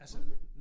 Tror du det?